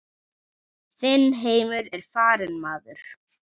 Þinn heimur er farinn maður.